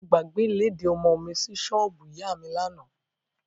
Mo gbàgbé ìlédìí ọmọ mi sí ṣọ́ọ̀bù ìyá mi lánàá.